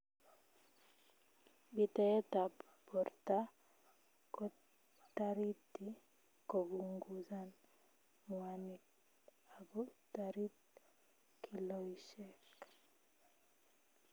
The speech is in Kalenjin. Bitaet ab borta kotariti kopunguzan ngwanik ago tarit kiloishek